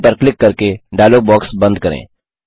done पर click करके dialogue box बंद करें